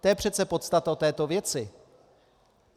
To je přece podstata této věci.